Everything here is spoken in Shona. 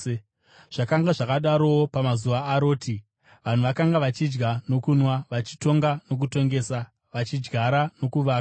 “Zvakanga zvakadarowo pamazuva aRoti. Vanhu vakanga vachidya nokunwa, vachitonga nokutongesa, vachidyara nokuvaka.